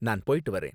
நான் போய்ட்டு வரேன்.